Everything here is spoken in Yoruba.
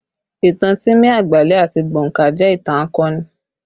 Ìtàn Timi Agbale àti Gbonka jẹ ìtàn akọni